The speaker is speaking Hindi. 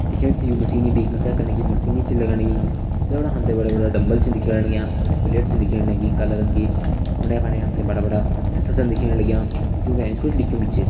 दिखेण से यू मशीन भी कसरत कने की मशीन छ लगण लगीं जफणा हम ते बड़ा बड़ा डम्बल छन दिखेण लग्यां अर कुछ प्लेट छन दिखेण लगीं काला रंग कि उंडे फंडे हम ते बड़ा बड़ा सिसा छन दिखेण लग्यां जुं का एंच कुछ लिख्युं भी छ।